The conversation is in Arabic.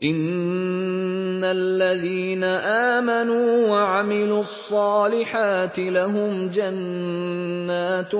إِنَّ الَّذِينَ آمَنُوا وَعَمِلُوا الصَّالِحَاتِ لَهُمْ جَنَّاتٌ